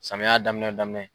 Samiya daminɛ daminɛ.